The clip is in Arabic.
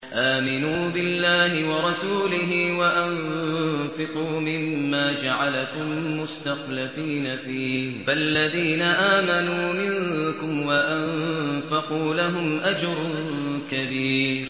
آمِنُوا بِاللَّهِ وَرَسُولِهِ وَأَنفِقُوا مِمَّا جَعَلَكُم مُّسْتَخْلَفِينَ فِيهِ ۖ فَالَّذِينَ آمَنُوا مِنكُمْ وَأَنفَقُوا لَهُمْ أَجْرٌ كَبِيرٌ